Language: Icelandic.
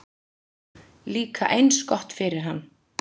Líka eins gott fyrir hann.